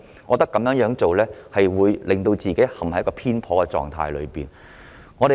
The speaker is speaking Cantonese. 我認為，如是者，政府只會陷入偏頗的狀態。